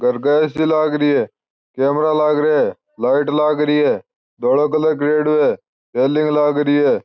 घर के एसी लाग रही है कैमरा लाग रिया है लाइट लाग रही है धोलो कलर करियोडो है रेलिंग लाग रही है।